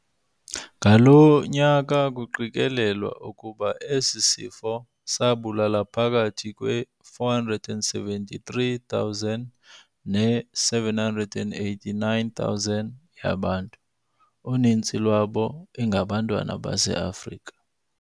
ngaloo nyaka kuqikelelwa ukuba esi sifo sabulala phakathi kwe-473,000 ne-789,000 yabantu, uninzi lwabo ingabantwana baseAfrika.